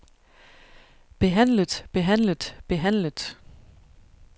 behandlet behandlet behandlet